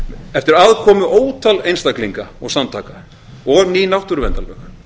eftir aðkomu ótal einstaklinga og samtaka og ný náttúruverndarlög